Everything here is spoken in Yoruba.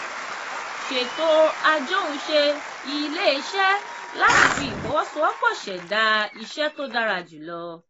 sètò ajohunṣe ilé-iṣẹ́ láti fi ìfọwọ́sowọ́pọ̀ ṣẹdá iṣẹ́ tó dára jùlọ.